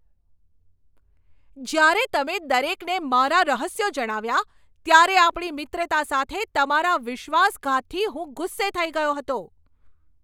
જ્યારે તમે દરેકને મારા રહસ્યો જણાવ્યા ત્યારે આપણી મિત્રતા સાથે તમારા વિશ્વાસઘાતથી હું ગુસ્સે થઈ ગયો હતો.